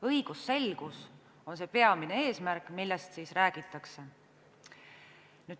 Õigusselgus on peamine eesmärk, millest räägitakse.